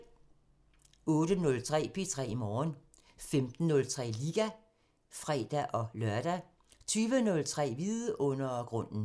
08:03: P3 Morgen 15:03: Liga (fre-lør) 20:03: Vidundergrunden